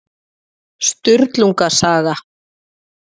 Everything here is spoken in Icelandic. Sturlunga saga.